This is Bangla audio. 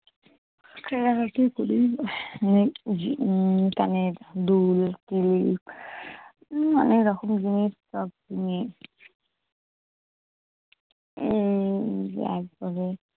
কানের দুল-ফুল নানা রকম‘ উম তারপরে